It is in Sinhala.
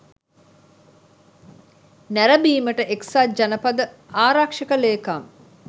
නැරඹීමට එක්සත් ජනපද ආරක්ෂක ලේකම්